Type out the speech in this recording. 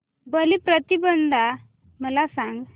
बलिप्रतिपदा मला सांग